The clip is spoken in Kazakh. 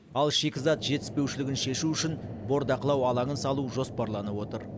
ал шикізат жетіспеушілігін шешу үшін бордақылау алаңын салу жоспарланып отыр